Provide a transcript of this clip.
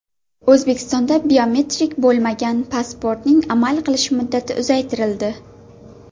O‘zbekistonda biometrik bo‘lmagan pasportning amal qilish muddati uzaytirildi.